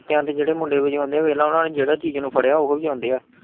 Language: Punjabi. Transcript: ਜਗਰਾਤਿਆ ਚ ਜਿਹੜੇ ਮੁੰਡੇ ਵਜਾਓਂਦੇ ਵੇਖਲਾ ਓਹਨਾਂ ਜਿਹੜੀ ਚੀਜ਼ ਨੂੰ ਫੜਿਆ ਓਹੋ ਵਜਾਉਂਦੇ ਆ।